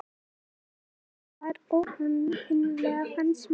Hún spilaði þar óaðfinnanlega fannst mér.